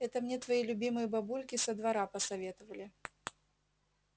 это мне твои любимые бабульки со двора посоветовали